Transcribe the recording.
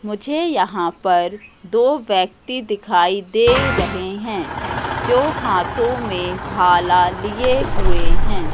मुझे यहां पर दो व्यक्ति दिखाई दे रहे हैं जो हाथों में भाला लिए हुए हैं।